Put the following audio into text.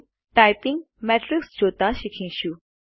typing matrix જોતા શીખીશું